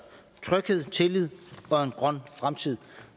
tryghed tillid og en grøn fremtid